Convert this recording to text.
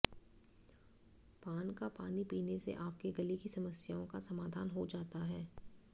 पान का पानी पीने से आपके गले की समस्याओं का समाधान हो जाता है